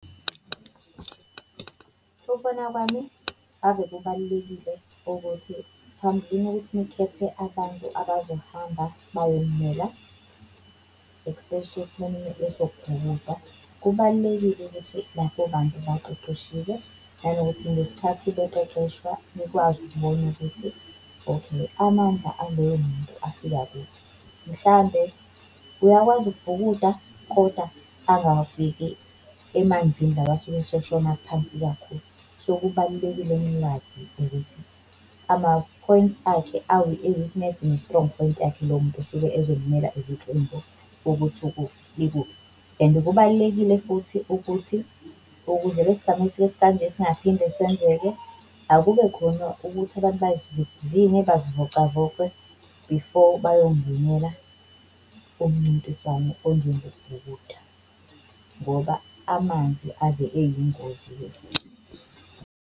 Ukubona kwami, ave kubalulekile ukuthi phambilini ukuthi nikhethe abantu abazohamba bayonimela, especially esimeni esokubhukuda, kubalulekile ukuthi labo bantu baqeqeshiwe nanokuthi ngesikhathi baqeqeshwa nikwazi ukubona ukuthi okay, amandla aleyo muntu afika kuphi. Mhlawumbe uyakwazi ukubhukuda kodwa angafiki emanzini la asuke eseshona aphansi kakhulu. So kubalulekile nikwazi ukuthi ama-points akhe i-weakness ne-strong point yakhe lomuntu osuke ezomela iziqembu ukuthi ikuphi. And kubalulekile futhi ukuthi ukuze lesi sigameko esikanje singaphinde senzeke, akube khona ukuthi abantu bazivivinywe bazivocavoce before bayongenela umncintiswano onjengokubhukuda ngoba amanzi ave eyingozi-ke futhi.